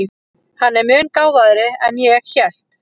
Hann er mun gáfaðri en ég hélt.